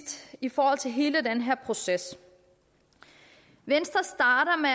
i forhold til hele den her proces venstre starter med